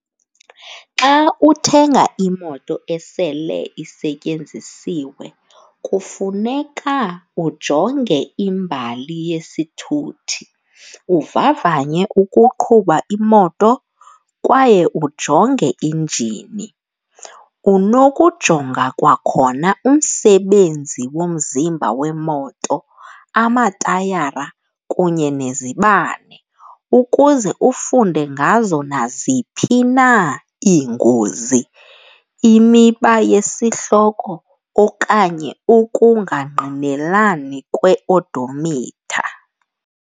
Xa uthenga imoto esele isetyenzisiwe kufuneka ujonge imbali yesithuthi, uvavanye ukuqhuba imoto kwaye ujonge injini. Unokujonga kwakhona umsebenzi womzimba wemoto, amatayara kunye nezibane ukuze ufunde ngazo naziphi na iingozi, imiba yesihloko okanye ukungangqinelani kwe-odometer.